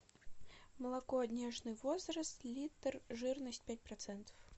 молоко нежный возраст литр жирность пять процентов